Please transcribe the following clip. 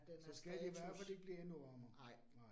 At den er status. Nej